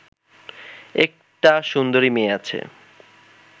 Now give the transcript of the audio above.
একটা সুন্দরী মেয়ে আছে